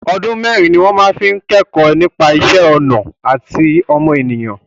Ọdún mẹ́ẹ́rin ni wọn fi máa ń kẹ́kọ̀ọ́ nípa ìṣẹ́ ọnà àti ọmọnìyàn